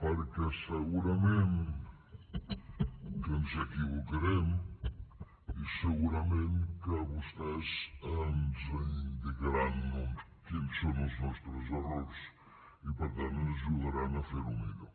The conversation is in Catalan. perquè segurament que ens equivocarem i segurament que vostès ens indicaran quins són els nostres errors i per tant ens ajudaran a fer ho millor